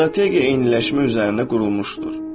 Strategiya eyniləşmə üzərinə qurulmuşdur.